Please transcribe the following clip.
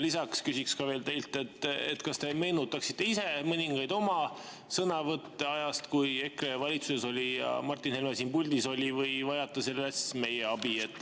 Lisaks küsin teilt, kas te võiksite ise meenutada mõningaid oma sõnavõtte ajast, kui EKRE oli valitsuses ja Martin Helme oli siin puldis, või vajate selles meie abi.